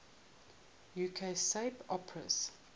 uk soap operas